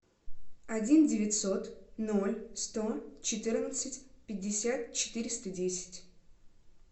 один девятьсот ноль сто четырнадцать пятьдесят четыреста десять